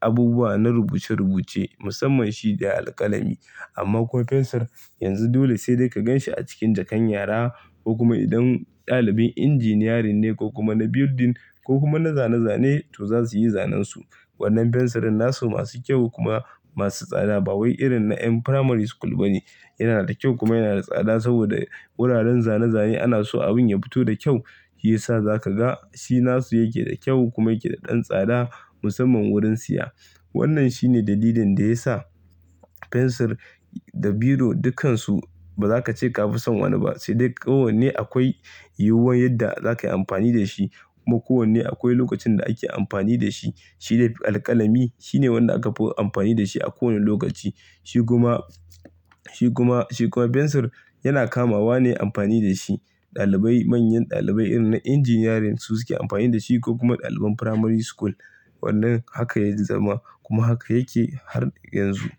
abubuwa na rubuce-rubuce musamman shi da alƙalami. Amma ko fensir yanzu dole sai dai ka gan shi a cikin jakan yara ko kuma idan ɗalibin injiniyarin ne ko kuma na building ko kuma na zane-zane to za su yi zanen su. Wannan fensirin nasu masu kyau kuma masu tsada ba wai irin na ƴan primary school ba ne. Yana da kyau kuma yana da tsada saboda wuraren zane zane anaso abun ya fiti da kyau. Shi ya sa za ka ga shi nasu yake da kyau kuma yake da ɗan tsada musamman wurin siya. Wannan shi ne dalilin da ya sa fensir da biro dukkansu ba za ka ce ka fi son wani ba sai dai ko wanne akwai yiwuwar yadda za ka yi amfani da shi kuma ko wanne akwai lokacin da ake amfani da shi. Shi dai alƙalami shi ne wanda aka fi amfani da shi a kowane lokaci. Shi kuma, shi kuma, shi kuma fensir yana kamawa ne amfani da shi. Ɗalibai manyan ɗalibai irin na injiniyarin su suke amfani da shi ko kuma ɗaliban primary school. Wannan haka ya zama kuma haka yake har yanzu.